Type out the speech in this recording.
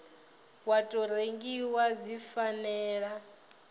wa tou rengiwa dzi fanela